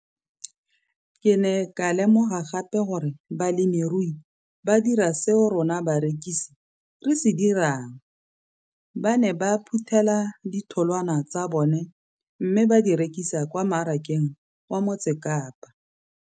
Ke ne ka lemoga gape gore balemirui ba dira seo rona barekisi re se dirang, ba ne ba phuthela ditholwana tsa bona mme ba di rekisa kwa marakeng wa Motsekapa.